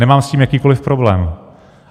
Nemám s tím jakýkoliv problém.